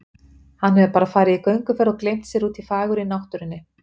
Hann hefur bara farið í gönguferð og gleymt sér úti í fagurri náttúrunni